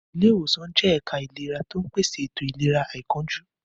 Ilé ìwòsàn jẹ́ ẹ̀ka ìlera tó ń pèsè ètò ìlera àìkánjú.